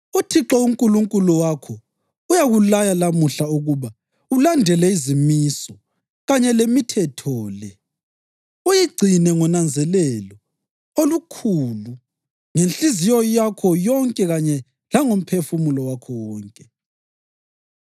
“ UThixo uNkulunkulu wakho uyakulaya lamuhla ukuba ulandele izimiso kanye lemithetho le; uyigcine ngonanzelelo olukhulu ngenhliziyo yakho yonke kanye langomphefumulo wakho wonke.